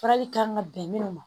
Farali kan ka bɛn minnu ma